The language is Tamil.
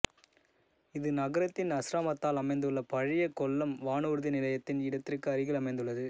இது நகரத்தின் அஸ்ராமத்தில் அமைந்துள்ள பழைய கொல்லம் வானூர்தி நிலையத்தின் இடத்திற்கு அருகில் அமைந்துள்ளது